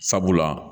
Sabula